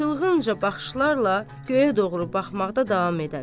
Çılğınca baxışlarla göyə doğru baxmaqda davam edər.